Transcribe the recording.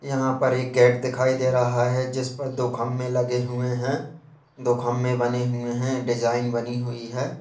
यहां पर एक गैट दिखाई दे रहा है जिसपर दो खम्मे लगे हुए हैं दो खम्मे बने हुए हैं डिजाइन बनी हुई है।